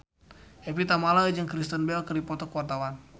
Evie Tamala jeung Kristen Bell keur dipoto ku wartawan